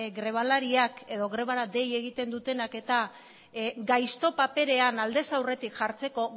grebalariak edo grebara dei egiten dutenak eta gaizto paperean aldez aurretik jartzeko